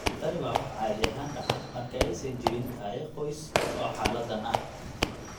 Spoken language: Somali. Tani waa waxa caadi ahaan dhaca marka aysan jirin taariikh qoys oo xaaladdan ah.